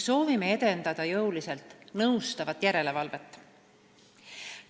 Soovime edendada jõuliselt nõustavat järelevalvet.